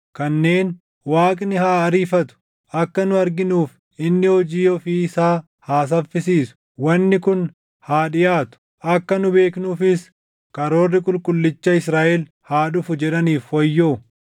kanneen, “Waaqni haa ariifatu; akka nu arginuuf inni hojii ofii isaa haa saffisiisu, wanni kun haa dhiʼaatu; akka nu beeknuufis karoorri Qulqullicha Israaʼel haa dhufu” // jedhaniif wayyoo.